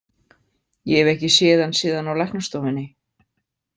Ég hef ekki séð hann síðan á læknastofunni.